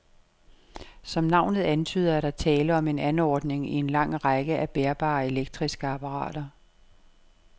Som navnet antyder, er der tale om en anordning i en lang række af bærbare elektriske apparater.